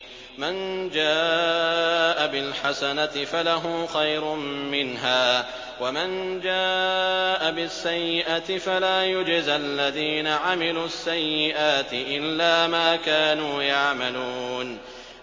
مَن جَاءَ بِالْحَسَنَةِ فَلَهُ خَيْرٌ مِّنْهَا ۖ وَمَن جَاءَ بِالسَّيِّئَةِ فَلَا يُجْزَى الَّذِينَ عَمِلُوا السَّيِّئَاتِ إِلَّا مَا كَانُوا يَعْمَلُونَ